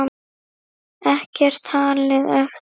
Ekkert talið eftir.